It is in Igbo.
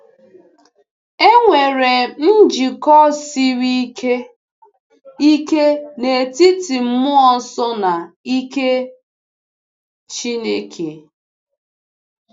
E nwere njikọ siri ike ike n’etiti Mmụọ Nsọ na ike Chineke.